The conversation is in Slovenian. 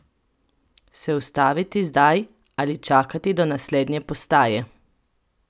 Se ustaviti zdaj ali čakati do naslednje postaje?